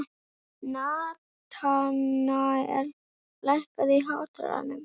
Natanael, lækkaðu í hátalaranum.